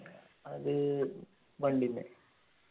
അത് വണ്ടിമ്മേ